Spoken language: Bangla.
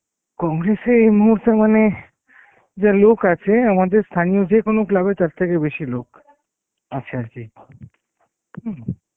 congress এ এই মুহুর্তে মানে যা লোক আছে আমাদের স্থানীয় কোনো club এ তারথেকে বেসি লোক আছে আরকি হম